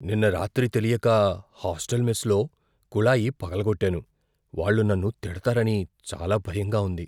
నిన్న రాత్రి తెలియక హాస్టల్ మెస్లో కుళాయి పగలగొట్టాను, వాళ్ళు నన్ను తిడతారని చాలా భయంగా ఉంది.